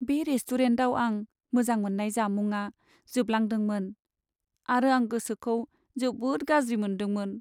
बे रेस्टुरेन्टाव आं मोजां मोननाय जामुंआ जोबलांदोंमोन आरो आं गोसोखौ जोबोद गाज्रि मोनदोंमोन।